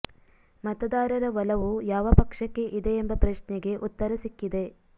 ಮತದಾರರ ಒಲವು ಯಾವ ಪಕ್ಷಕ್ಕೆ ಇದೆ ಎಂಬ ಪ್ರಶ್ನೆಗೆ ಉತ್ತರ ಸಿಕ್ಕಿದೆ